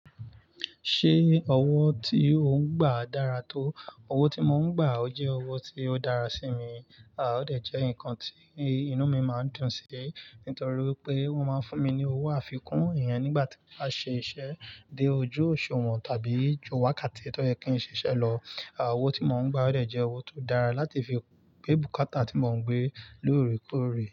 Ṣé owó tí ò ń gbà dára tó? Owó tí mò ń gbà ó jẹ́ owó tí ó dára sí mi. À ó dẹ̀ jẹ́ nǹkan tí inú mi máa dùn sí, nítorí pé wọ́n máa ń fún mi ní owó àfikún èèyàn nígbà tí a ṣe iṣẹ́ dé ojú òṣùwọ̀n tàbí ju wákàtí tó yẹ kí n ṣe iṣẹ́ lọ. À owó tí mò ń gbà ó dẹ̀ jẹ́ owó tó dára láti fi gbé bùkátà tí mò ń gbé lóòrèkóòrè.